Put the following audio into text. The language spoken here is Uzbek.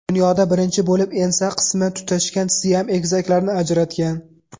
Dunyoda birinchi bo‘lib ensa qismi tutashgan Siam egizaklarini ajratgan.